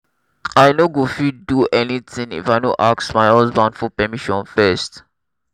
i no go fit do anything if i no ask my husband for permission first